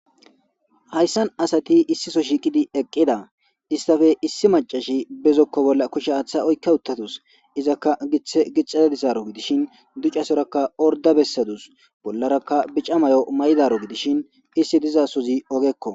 Hayssan asati issiso shiiqidi eqqida issafe issi macashi bezokko bolla kusheaaththa oykka uttatus izakka giththe gixada disaro gidishin ducasorakka orda bessadus bollarakka bicamayo may7daro gidishin issi diza suzi ogekko.